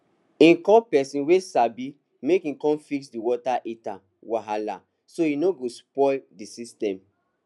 e call person wey sabi make e con fix d water heater wahala so e no go spoil d system